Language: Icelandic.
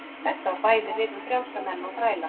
Þetta á bæði við um frjálsa menn og þræla.